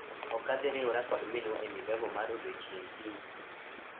Ok adhi riwora kod minwa e migago mar odiechieng' kiny.